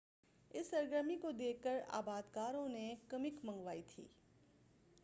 اس سرگرمی کو دیکھ کر آباد کاروں نے کمک منگوائی تھی